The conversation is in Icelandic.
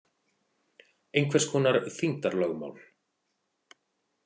Einhvers konar þyngdarlögmál.